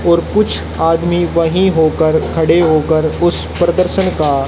और कुछ आदमी वहीं होकर खड़े होकर उस प्रदर्शन का--